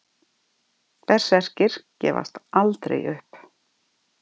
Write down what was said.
Berserkir gefast aldrei upp!